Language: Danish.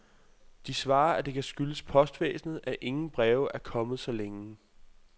De svarer, at det kan skyldes postvæsnet, at ingen breve er kommet så længe.